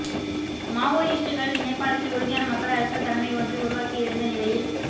மாவோயிஸ்டுக்கள் நேபாளத்தில் உறுதியான மக்கள் அரசியல் தலைமை ஒன்றை உருவாக்கியிருந்த நிலையில்